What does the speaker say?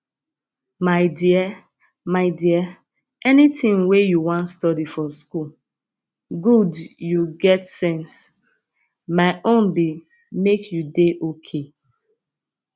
my dear my dear anything wey you wan study for school good you get sense my own be make you dey okay